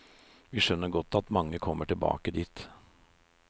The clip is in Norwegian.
Vi skjønner godt at mange kommer tilbake dit.